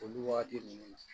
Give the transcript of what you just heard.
Olu wagati ninnu na